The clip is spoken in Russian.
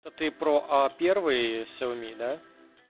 это ты про а первые сиоми да